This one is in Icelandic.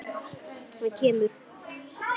Hann kemur.